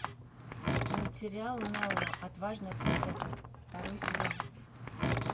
мультсериал нелла отважная принцесса второй сезон